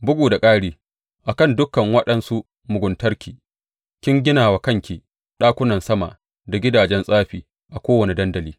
Bugu da ƙari a kan dukan waɗansu muguntarki, kin gina wa kanki ɗakunan sama da gidajen tsafi a kowane dandali.